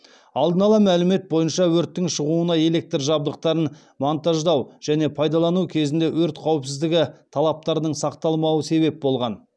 алдын ала мәлімет бойынша өрттің шығуына электр жабдықтарын монтаждау және пайдалану кезінде өрт қауіпсіздігі талаптарының сақталмауы себеп болған